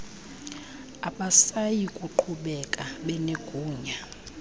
abasayi kuqhubeka benegunya